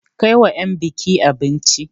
Kai wa 'yan buki abinci!